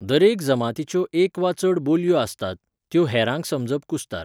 दरेक जमातीच्यो एक वा चड बोलयो आसतात, त्यो हेरांक समजप कुस्तार.